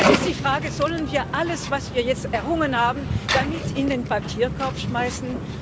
Nun ist die Frage Sollen wir alles, was wir jetzt errungen haben, damit in den Papierkorb schmeißen?